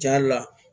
Ja la